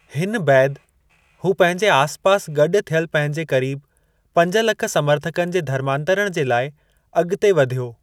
हिन बैदि हू पंहिंजे आसिपासि गॾु थियलु पंहिंजे करीब पंज लख समर्थकनि जे धर्मांतरणु जे लाइ अगि॒ते वधियो।